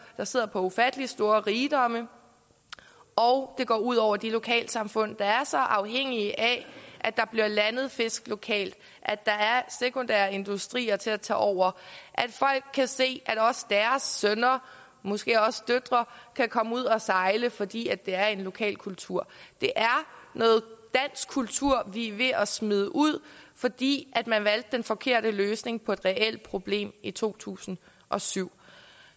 der sidder på ufattelig store rigdomme og det går ud over de lokalsamfund der er så afhængige af at der bliver landet fisk lokalt at der er sekundære industrier til at tage over at folk kan se at deres sønner og måske også døtre kan komme ud og sejle fordi det er en lokal kultur det er noget dansk kultur vi er ved at smide ud fordi man valgte den forkerte løsning på et reelt problem i to tusind og syv